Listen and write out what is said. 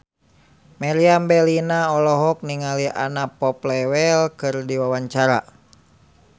Meriam Bellina olohok ningali Anna Popplewell keur diwawancara